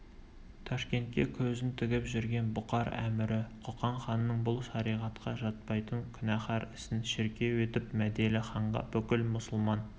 ташкентке көзін тігіп жүрген бұхар әмірі қоқан ханының бұл шариғатқа жатпайтын күнәһар ісін шіркеу етіп мәделіханға бүкіл мұсылман